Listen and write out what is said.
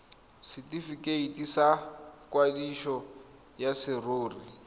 setifikeiti sa kwadiso ya serori